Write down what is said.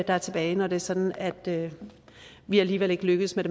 er tilbage når det er sådan at vi alligevel ikke lykkes med